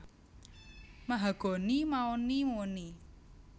Mahagoni maoni moni